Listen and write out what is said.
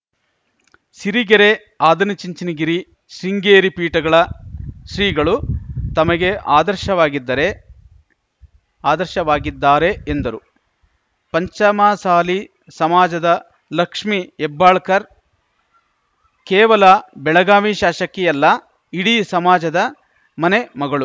ಸಿರಿಗೆರೆ ಆದನಚುಂಚನಗಿರಿ ಶೃಂಗೇರಿ ಪೀಠಗಳ ಶ್ರೀಗಳು ತಮಗೆ ಆದರ್ಶವಾಗಿದ್ದರೆ ಆದರ್ಶವಾಗಿದ್ದಾರೆ ಎಂದರು ಪಂಚಮಸಾಲಿ ಸಮಾಜದ ಲಕ್ಷ್ಮೀ ಹೆಬ್ಬಾಳ್ಕರ್‌ ಕೇವಲ ಬೆಳಗಾವಿ ಶಾಶಕಿಯಲ್ಲ ಇಡೀ ಸಮಾಜದ ಮನೆ ಮಗಳು